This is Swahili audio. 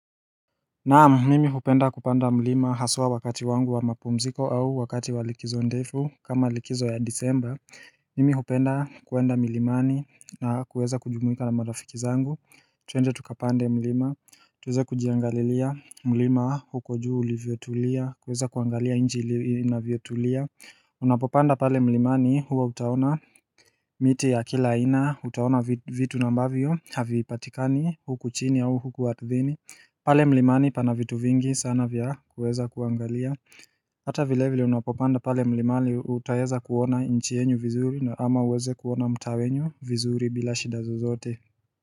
Naam, mimi hupenda kupanda mlima haswa wakati wangu wa mapumziko au wakati wa likizo ndefu kama likizo ya disemba Mimi hupenda kuenda milimani na kuweza kujumuika na marafiki zangu twende tukapande mlima tuweze kujiangalilia mlima huko juu ulivyotulia kuweza kuangalia nchi inavyotulia Unapopanda pale mlimani huwa utaona miti ya kila aina utaona vitu ambavyo havipatikani huku chini au huku ardhini pale mlimani pana vitu vingi sana vya kuweza kuangalia Hata vile vile unapopanda pale mlimani utaeza kuona nchi yenyu vizuri na ama uweze kuona mtaa wenyu vizuri bila shida zozote.